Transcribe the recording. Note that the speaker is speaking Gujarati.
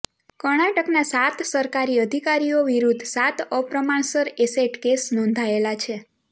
કર્ણાટકના સાત સરકારી અધિકારીઓ વિરુદ્ધ સાત અપ્રમાણસર એસેટ કેસ નોંધાયેલા છે